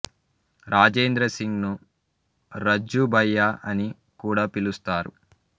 రాజేంద్ర సింగ్ ను రజ్జు భయ్యా అని కూడా పిలుస్తారు